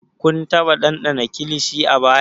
Kun taba dandana kilishi a baya?